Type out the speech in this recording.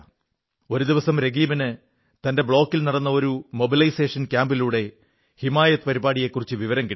ഒരു ദിവസം രകീബിന് തന്റെ ബ്ലോക്കിൽ നടന്ന ഒരു മൊബിലൈസേഷൻ ക്യാമ്പിലൂടെ ഹിമായത് പരിപാടിയെക്കുറിച്ച് വിവരം കിട്ടി